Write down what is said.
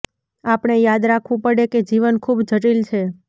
આપણે યાદ રાખવું પડે કે જીવન ખૂબ જટિલ છે